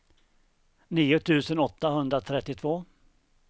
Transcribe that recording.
nio tusen åttahundratrettiotvå